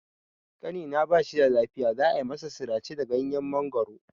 Ƙanina ba shida lafiya, za a masa sirace da ganyen mangoro.